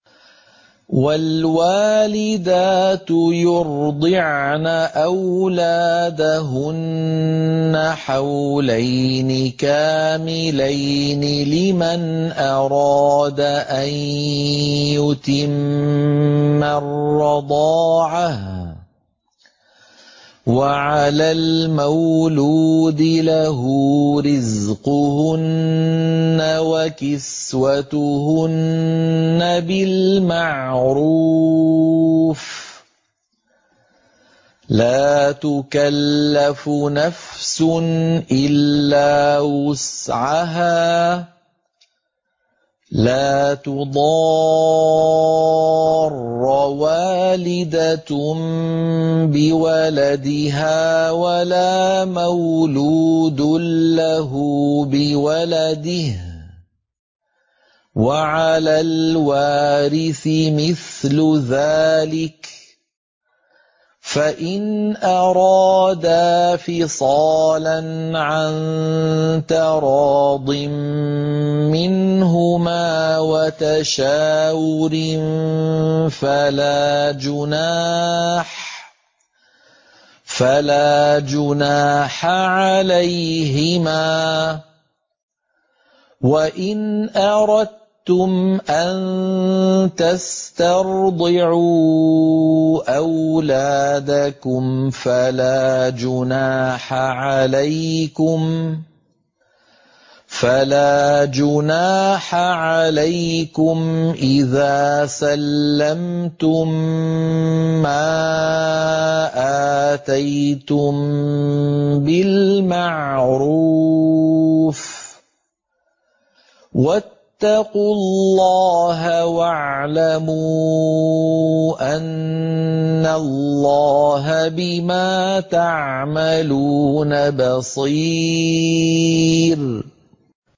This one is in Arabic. ۞ وَالْوَالِدَاتُ يُرْضِعْنَ أَوْلَادَهُنَّ حَوْلَيْنِ كَامِلَيْنِ ۖ لِمَنْ أَرَادَ أَن يُتِمَّ الرَّضَاعَةَ ۚ وَعَلَى الْمَوْلُودِ لَهُ رِزْقُهُنَّ وَكِسْوَتُهُنَّ بِالْمَعْرُوفِ ۚ لَا تُكَلَّفُ نَفْسٌ إِلَّا وُسْعَهَا ۚ لَا تُضَارَّ وَالِدَةٌ بِوَلَدِهَا وَلَا مَوْلُودٌ لَّهُ بِوَلَدِهِ ۚ وَعَلَى الْوَارِثِ مِثْلُ ذَٰلِكَ ۗ فَإِنْ أَرَادَا فِصَالًا عَن تَرَاضٍ مِّنْهُمَا وَتَشَاوُرٍ فَلَا جُنَاحَ عَلَيْهِمَا ۗ وَإِنْ أَرَدتُّمْ أَن تَسْتَرْضِعُوا أَوْلَادَكُمْ فَلَا جُنَاحَ عَلَيْكُمْ إِذَا سَلَّمْتُم مَّا آتَيْتُم بِالْمَعْرُوفِ ۗ وَاتَّقُوا اللَّهَ وَاعْلَمُوا أَنَّ اللَّهَ بِمَا تَعْمَلُونَ بَصِيرٌ